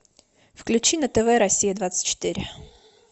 включи на тв россия двадцать четыре